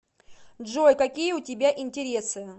джой какие у тебя интересы